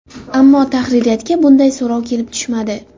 Ammo tahririyatga bunday so‘rov kelib tushmadi.